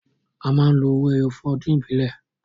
A máa ń lo owó ẹyọ fún ọdún ìbílẹ̀